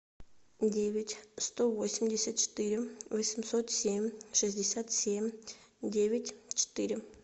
девять сто восемьдесят четыре восемьсот семь шестьдесят семь девять четыре